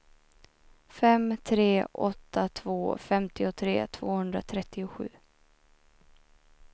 fem tre åtta två femtiotre tvåhundratrettiosju